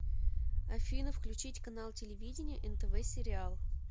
афина включить канал телевидения нтв сериал